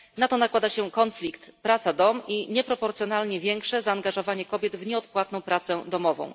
Na to nakłada się konflikt praca dom i nieproporcjonalnie większe zaangażowanie kobiet w nieodpłatną pracę domową.